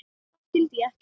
Þar skildi ég ekkert.